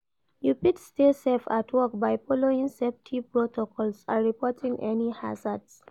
You fit stay safe at work by following safety protocols and reporting any hazards.